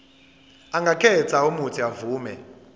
angakhetha uuthi avume